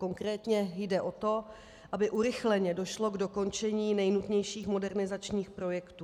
Konkrétně jde o to, aby urychleně došlo k dokončení nejnutnějších modernizačních projektů.